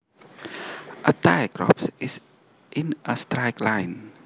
A tight rope is in a straight line